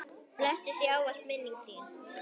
Blessuð sé ávallt minning þín.